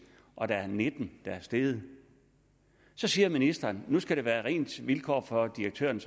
og der er nitten der er steget så siger ministeren at nu skal der være ens vilkår for direktøren